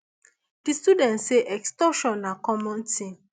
di students say extortion na common tin